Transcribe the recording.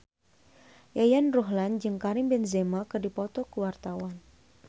Yayan Ruhlan jeung Karim Benzema keur dipoto ku wartawan